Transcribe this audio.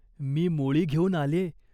अपरंपार पाणी. मुसळासारखे त्या विहिरीला झरे होते.